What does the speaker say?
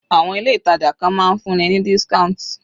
Àwọn ilé ìtàjà kan máa ń fún ni ní discount